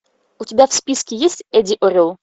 у тебя в списке есть эдди орел